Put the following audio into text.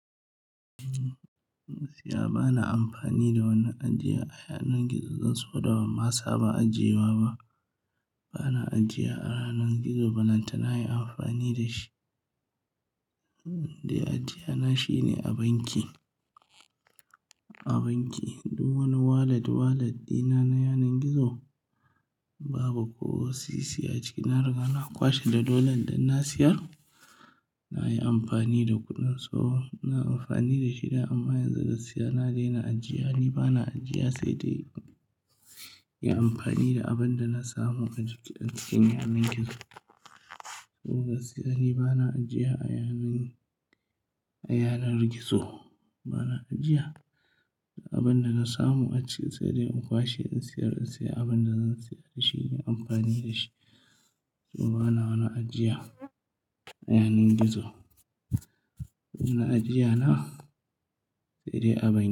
Gaskiya bana amfani da wani ajiya a yanar gizo zan saboda ban ma saba ajiye wa ba. Bana ajiya a ranar gizo, ballantana yin amfani da shi. Inde ajiya na shine a banki, a banki duk wani wallet wallet ɗina na yanar gizo babu ko sisi a ciki. Na riga na kwashe da dalolin duk na siyar, na yi amfani da kuɗin su. So ina amfani da shi da amma yanzu gasksiya na daina ajiya, ni bana ajiya saidai yin amfani da abin da na samu a cikin yanar gizo. So gaskiya ni bana ajiya a yanar, a yanar gizo bana ajiya. Abin da na samu a ciki saidai in kwashe in siyar, in siya abin da zan siya da shi, inyi amfani da shi. So bana wani ajiya a yanar gizo. Ni ajiya na saidai a banki.